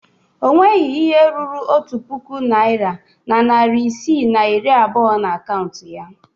O nweghi ihe ruru otu puku naịra na narị isii na iri abụọ na akaụntụ ya.